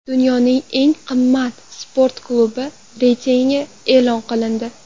Dunyoning eng qimmat sport klublari reytingi e’lon qilindi.